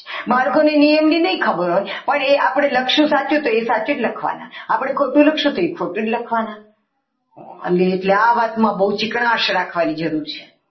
બાળકોને નિયમોની નહીં ખબર હોય પણ આપણી સાચું લખશું તો એ સાચું જ લખવાના આપણે ખોટું લખશો તો એ ખોટું જ લખવાના અને એટલે આ વાતમાં બહુ ચીકણા રાખવાની જરૂર છે.